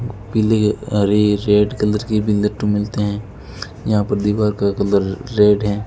पीले हरे red colour के मिलते हैं यहां पर दीवार का कलर रेड है।